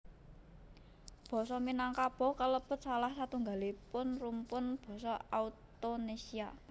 Basa Minangkabau kalebet salah satunggalipun rumpun basa Austonésia